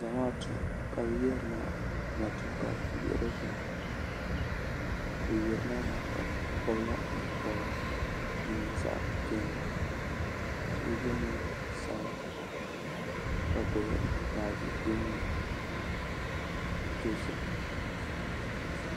Zamaatu ka bɛ yirina matuuka yiɣirigu ni bɛ yirina maa ka gbibi la nyɛ'pobra din nyɛ zaɣa piɛlli sheba ye niɛn'sabla ka gbibi baaji din nyɛ dozim.